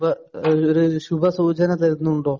സുഭ ഈ ഒരു ശുഭസൂചന തരുന്നുണ്ടോ?